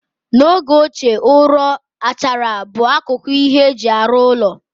N'oge ochie, ụrọ, achara bụ akụkụ nke ihe eji arụ ụlọ.